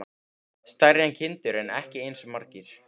Stærri en kindur en ekki eins margir.